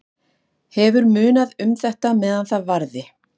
Hefur munað um þetta meðan það varði.